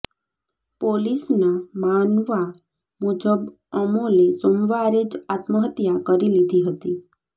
પોલીસના માનવા મુજબ અમોલે સોમવારે જ આત્મહત્યા કરી લીધી હતી